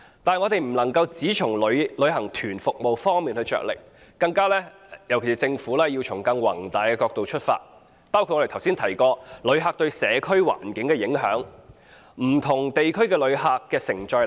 此外，政府不能夠只從旅行團服務方面着力，更應從更宏大的角度出發，包括旅客對社區環境的影響、不同地區的旅客承載力。